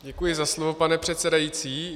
Děkuji za slovo, pane předsedající.